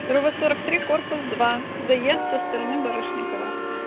кирова сорок три корпус два заезд со стороны барышникова